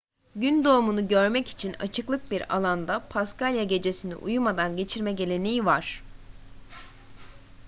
gün doğumunu görmek için açıklık bir alanda paskalya gecesini uyumadan geçirme geleneği var